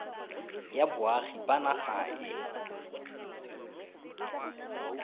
ya boagi ba naga e